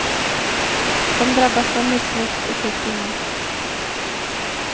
De drabbas av missväxt och sjukdomar.